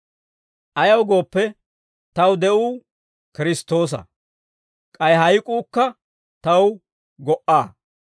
Ayaw gooppe, taw de'uu Kiristtoosa; k'ay hayk'uukka taw go"a.